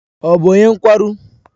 Ọ bụ onye nkwarụ?